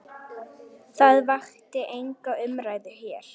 Það vakti enga umræðu hér.